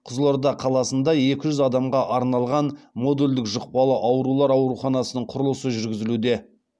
қызылорда қаласындаекі жүз адамға арналған модульдік жұқпалы аурулар ауруханасының құрылысы жүргізілуде